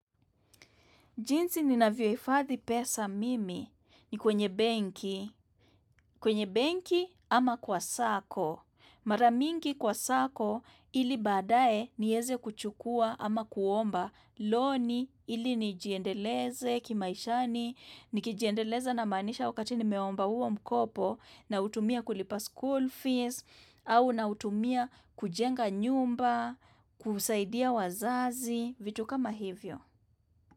Jinsi ninalavyohifadhi pesa mimi ni kwenye benki, kwenye benki ama kwa sako. Mara mingi kwa sako ili badae nieze kuchukua ama kuomba loni ili nijiendeleze kimaishani, ni kijiendeleza namaanisha wakati nimeomba huo mkopo nautumia kulipa school fees, au nautumia kujenga nyumba, kusaidia wazazi, vitu kama hivyo.